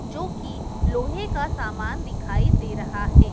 जो की लोहे का सामान दिखाई दे रहा है।